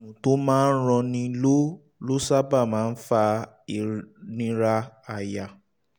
àrùn tó ń ranni ló ló sábà máa ń fa ìnira àyà